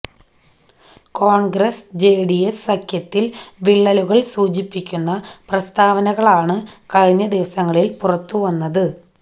കോണ്ഗ്രസ് ജെഡിഎസ് സഖ്യത്തില് വിള്ളലുകള് സൂചിപ്പിക്കുന്ന പ്രസ്താവനകളാണ് കഴിഞ്ഞ ദിവസങ്ങളില് പുറത്തുവന്നത്